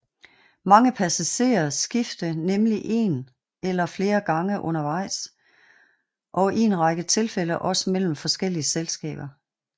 Mange passagerer skifte nemlig en eller flere gange undervejs og i en række tilfælde også mellem forskellige selskaber